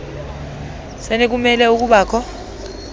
senu kumele ukubakho